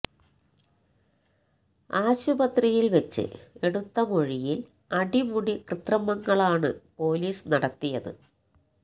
ആശുപത്രിയിൽ വെച്ച് എടുത്ത മൊഴിയിൽ അടിമുടി കൃത്രിമങ്ങളാണ് പൊലീസ് നടത്തിയത്